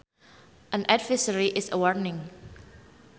An advisory is a warning